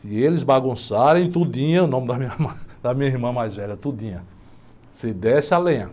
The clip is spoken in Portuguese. Se eles bagunçarem, o nome da minha irmã, da minha irmã mais velha, você desce a lenha.